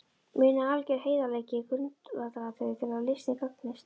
Munið að alger heiðarleiki er grundvallaratriði til að listinn gagnist.